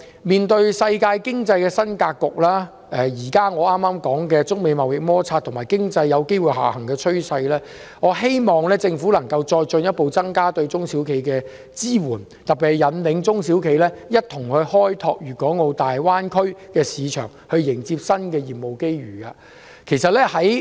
面對世界經濟的新格局、我剛才提到的中美貿易摩擦，以及經濟下行風險，我希望政府能進一步增加對中小企的支援，特別是引領中小企一同開拓大灣區市場，迎接新的業務機遇。